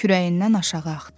Kürəyindən aşağı axdı.